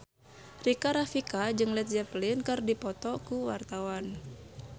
Rika Rafika jeung Led Zeppelin keur dipoto ku wartawan